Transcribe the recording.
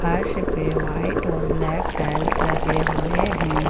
फर्श पे व्हाइट और ब्लैक टाइल्स लगे हुए हैं।